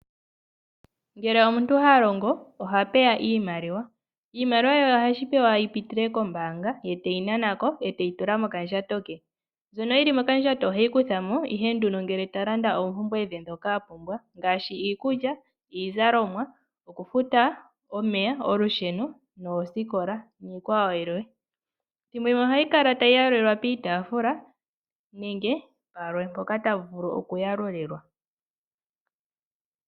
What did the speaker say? Ngele omuntu ha longo oha pewa ondjambi yiimaliwa. Iimaliwa ohashi vulika yi pitile kombaanga ye teyi nana ko, e teyi tula mokandjato ke. Mbyono yi li mokandjato oheyi kutha mo ihe ngele ta landa oompumbwe dhe ndhoka a pumbwa ngaashi iikulya, iizalomwa, okufuta omeya, olusheno, okufuta oosikola niikwawo yilwe. Ethimbo limwe ohayi kala tayi yalulilwa piitaafula nenge palwe mpoka ta vulu okuyalulilwa.